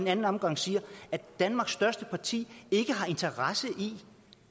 anden omgang siger at danmarks største parti ikke har interesse i